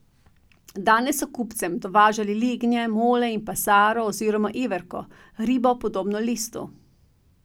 Danes so kupcem dovažali lignje, mole in pasaro oziroma iverko, ribo, podobno listu.